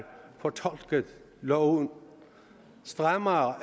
fortolket loven strammere